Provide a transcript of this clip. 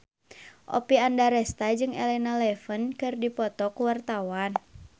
Oppie Andaresta jeung Elena Levon keur dipoto ku wartawan